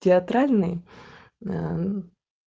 театральный ээ мм